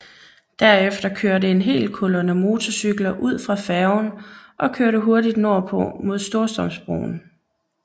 Derefter kørte en hel kolonne motorcykler ud fra færgen og kørte hurtigt nordpå mod Storstrømsbroen